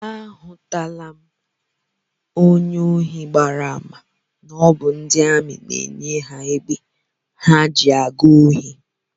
Ahụtụla m onye ohi gbara àmà na ọ bụ ndị amị na-enye ya egbe ha ji aga ohi